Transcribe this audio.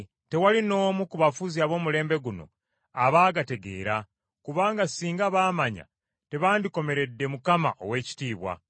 tewali n’omu ku bafuzi ab’omulembe guno abaagategeera, kubanga singa baamanya tebandikomeredde Mukama ow’ekitiibwa.